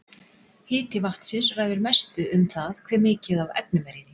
Hiti vatnsins ræður mestu um það hve mikið af efnum er í því.